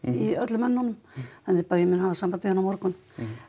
í öllum önnunum þannig að ég mun bara hafa samband við hann á morgun